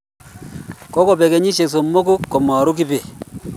kokobek kenyishek somok ko maro kibet